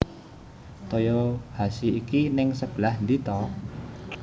Toyohashi ki ning sebelah ndi to